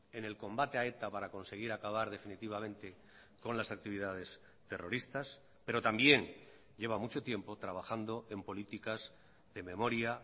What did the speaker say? en el combate a eta para conseguir acabar definitivamente con las actividades terroristas pero también lleva mucho tiempo trabajando en políticas de memoria